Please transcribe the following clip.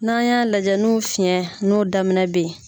N'an y'a lajɛ n'u fiyɛn n'u daminɛ bɛ ye